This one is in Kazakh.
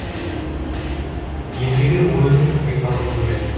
ендігі ойымның бет алысы бөлек